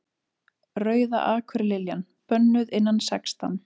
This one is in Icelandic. Rauða akurliljan. bönnuð innan sextán